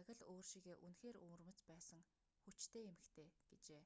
яг л өөр шигээ үнэхээр өвөрмөц байсан хүчтэй эмэгтэй гэжээ